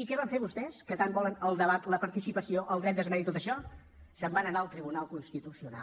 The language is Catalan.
i què van fer vostès que tant volen el debat la participació el dret d’esmena i tot això se’n van anar al tribunal constitucional